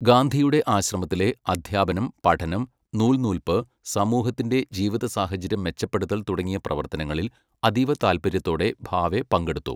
ഗാന്ധിയുടെ ആശ്രമത്തിലെ അദ്ധ്യാപനം, പഠനം, നൂൽനൂൽപ്പ്, സമൂഹത്തിന്റെ ജീവിതസാഹചര്യം മെച്ചപ്പെടുത്തൽ തുടങ്ങിയ പ്രവർത്തനങ്ങളിൽ അതീവ താല്പര്യത്തോടെ ഭാവെ പങ്കെടുത്തു.